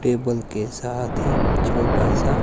table के साथ ही छोटा सा--